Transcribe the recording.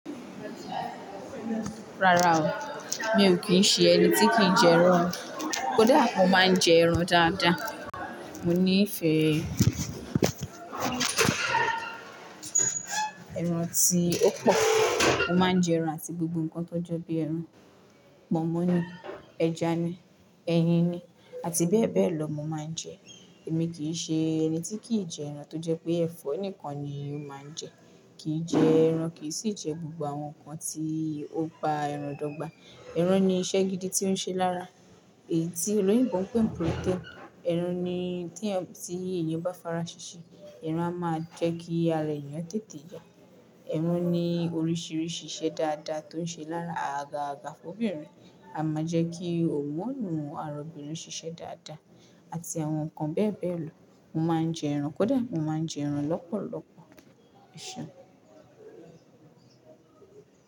Rárá o, mi ò kí ń ṣe ẹni tí kì ń jẹ ẹran. Kódà mo máa ń jẹ ẹran dáadáa. Mo nífẹ̀ẹ́ ẹran tí ó pọ̀. Mo máa ń jẹ ẹran àti gbogbo nǹkan tó jẹ́ bí ẹran. Pọnmọ́ ni, ẹja ni, ẹyin ni, àti bẹ́ẹ̀ bẹ́ẹ̀ lọ mo máa ń jẹ. Èmi kì í ṣe ẹni tí kì í jẹ ẹran tó jẹ́ pé ẹ̀fọ́ nìkan ni ó máa ń jẹ, kì í jẹ ẹran, kì í sì jẹ gbogbo àwọn nǹkan tí ó ba ẹran dọ́gba. Ẹran ní iṣẹ́ gidi tí ó ń ṣe lára èyí tí olóyinbi n pé n protein. Ẹran ni tí ẹyan bá farasese, ẹran a máa jẹ́ kí ara eyan tètè ya. Ẹran ní oríṣìíríṣìí iṣẹ́ dáadáa tó ń ṣe lára àga àga fọ́bìnrin, a máa jẹ́ kí oògùn àárọ̀bìnrin ṣiṣẹ́ dáadáa àti àwọn nǹkan bẹ́ẹ̀ bẹ́ẹ̀ lọ. Mo máa ń jẹ ẹran kódà, mo máa ń jẹ ẹran lọ́pọ̀lọpọ̀. Ṣé.